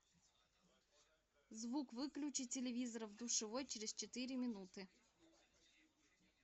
звук выключи телевизора в душевой через четыре минуты